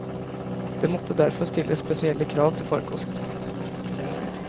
Det måtte derfor stilles spesielle krav til farkostene.